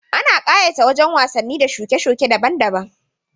Ana ƙayata wajan wasanni da shuke-shuke daban daban